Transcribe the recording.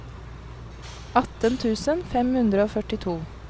atten tusen fem hundre og førtito